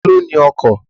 Ta ló ní ọkọ̀?